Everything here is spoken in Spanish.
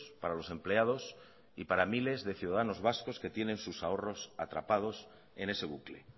para los empleados y para miles de ciudadanos vascos que tienen sus ahorros atrapados en ese bucle